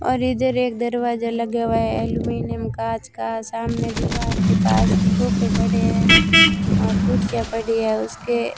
और इधर एक दरवाजा लगे हुए अल्युमिनियम कांच का सामने दीवार के पास सोफे पड़े हैं और कुर्सियां पड़ी है उसके --